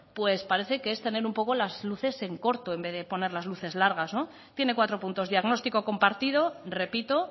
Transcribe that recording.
es tener un poco las luces en corto en vez de poner las luces largas tiene cuatro puntos diagnóstico compartido repito